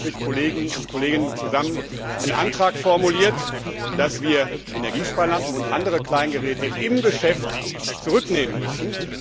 Deswegen habe ich mit Kolleginnen und Kollegen zusammen einen Antrag formuliert, dass wir Energiesparlampen und andere Kleingeräte im Geschäft zurücknehmen müssen.